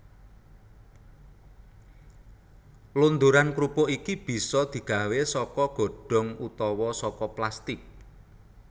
Londoran krupuk iki bisa digawé saka godhong utawa saka plastik